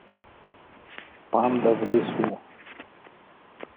панда в лесу